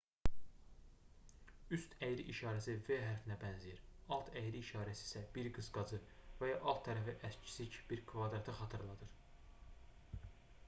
üst əyri işarəsi v hərfinə bənzəyir alt əyri işarəsi isə bir qısqacı və ya alt tərəfi əksik bir kvadratı xatırladır